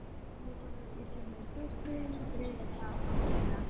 Nú horfir illa með klaustrin griðastað fátækra.